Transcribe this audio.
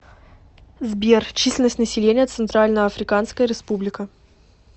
сбер численность населения центральноафриканская республика